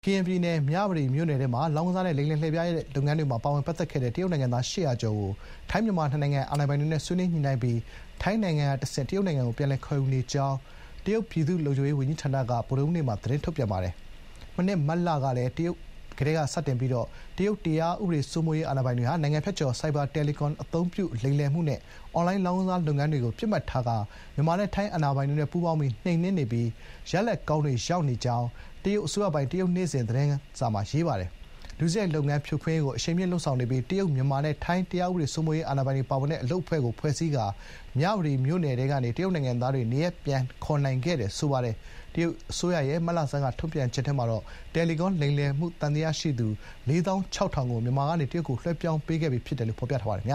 ကရင်ပြည်နယ် မြဝတီမြို့နယ်ထဲမှာ လောင်းကစားနဲ့ လိမ်လည်လှည့်ဖြားတဲ့ လုပ်ငန်းတွေမှာ ပါဝင်ပတ်သက်ခဲ့တဲ့ တရုတ်နိုင်ငံသား ၈၀၀ ကျော်ကို ထိုင်း-မြန်မာ နှစ်နိုင်ငံအာဏာပိုင်တွေနဲ့ ဆွေးနွေးညှိနှိုင်းပြီး ထိုင်းနိုင်ငံကတဆင့် တရုတ်နိုင်ငံကို ပြန်လည် ခေါ်ယူနေကြောင်း တရုတ် ပြည်သူ့လုံခြုံရေး ဝန်ကြီးဌာနက ဗုဒ္ဓဟူးနေ့မှာ သတင်းထုတ်ပြန်ပါတယ်။ မနှစ် မတ်လကလည်း တရုတ်တရားဥပဒေစိုးမိုးရေး အာဏာပိုင်တွေဟာ နိုင်ငံဖြတ်ကျော် ဆိုင်ဘာ တယ်လီကွန် အသုံးပြု လိမ်လည်မှုနဲ့ အွန်လိုင်းလောင်းကစားလုပ်ငန်းတွေကို ပစ်မှတ်ထားပြီး မြန်မာနဲ့ ထိုင်း အာဏာပိုင်တို့ ပူးပေါင်းပြီး နှိမ်နှင်းနေပြီး ရလဒ်ကောင်းတွေ ရနေကြောင်းလည်း တရုတ်အစိုးရပိုင် တရုတ်နေ့စဥ်သတင်းစာမှာ ရေးပါတယ်။ ဒုစရိုက်လုပ်ငန်း ဖြိုခွင်းရေးကို အရှိန်မြှင့်လုပ်ဆောင်နေပြီး တရုတ်၊ မြန်မာနဲ့ ထိုင်းတရားဥပဒေစိုးမိုးရေး အာဏာပိုင်တွေပါဝင်တဲ့ အလုပ်အဖွဲ့ကို ဖွဲ့စည်းထားပြီး မြဝတီမြို့နယ်ထဲကနေ တရုတ်နိုင်ငံသားတွေ နေရပ်ပြန်ခေါ်နိုင်ခဲ့တယ်လို့ ဆိုပါတယ်။ တရုတ်အစိုးရရဲ့ မတ်လဆန်းက ထုတ်ပြန်ချက်ထဲမှာတော့ တယ်လီကွန်လိမ်လည်မှုသံသယရှိသူ ၄၆,၀၀၀ ကို မြန်မာကနေ တရုတ်နိုင်ငံကို လွှဲပြောင်းပေးခဲ့တယ်လို့ ဖော်ပြထားပါတယ်